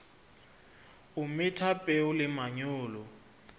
o metha peo le manyolo